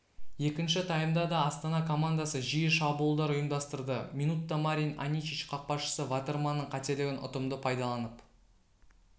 екінші таймда да астана командасы жиі шабуылдар ұйымдастырды минутта марин аничич қақпашысы ватерманның қателігін ұтымды пайданалып